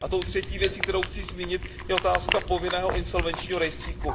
A tou třetí věcí, kterou chci zmínit, je otázka povinného insolvenčního rejstříku.